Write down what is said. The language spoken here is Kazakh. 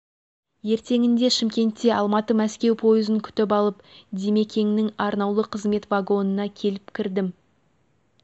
ертеңінде шымкентте алматы-мәскеу пойызын күтіп алып димекеңнің арнаулы қызмет вагонына келіп кірдім